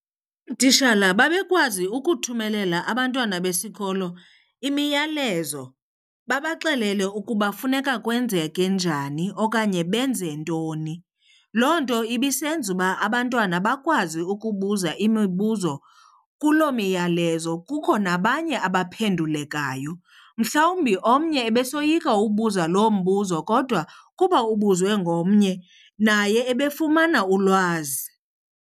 Ootishala babekwazi ukuthumelela abantwana besikolo imiyalezo babaxelele ukuba funeka kwenzeke njani okanye benze ntoni. Loo nto ibisenza uba abantwana bakwazi ukubuza imibuzo kuloo myalezo kukho nabanye abaphendulekayo. Mhlawumbi omnye ebesoyika ubuza lo mbuzo kodwa kuba ubuzwe ngomnye naye ebefumana ulwazi.